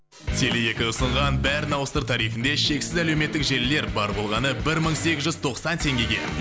теле екі ұсынған бәрін ауыстыр тарифінді шексіз әлеуметтік желілер бар болғаны бір мың сегіз жүз тоқсан теңгеге